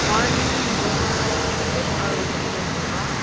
uani rongara tangsek aro gipok ong·a.